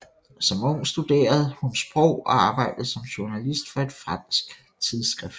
Som ung studerede hun sprog og arbejdede som journalist for et fransk tidsskrift